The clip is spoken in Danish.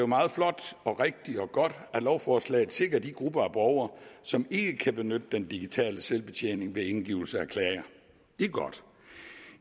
meget flot rigtigt og godt at lovforslaget sikrer de grupper af borgere som ikke kan benytte den digitale selvbetjening ved indgivelse af klager det er godt